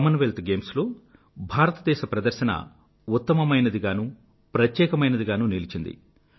Commonwealth Games లో భారతదేశ ప్రదర్శన ఉత్తమమైనదిగానూ ప్రత్యేకమైనది గానూ నిలిచింది